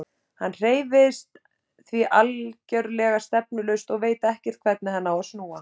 Hann hreyfist því algerlega stefnulaust og veit ekkert hvernig hann á að snúa.